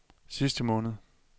sidste måned